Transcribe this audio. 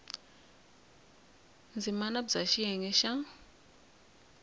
ndzimana b ya xiyenge xa